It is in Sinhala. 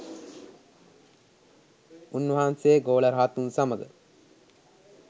උන් වහන්සේ ගෝල රහතුන් සමග